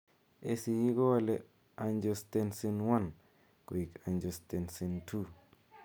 ACE kowale Angiostensin I koekAngiostensin II.